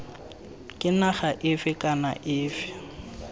ke naga efe kana efe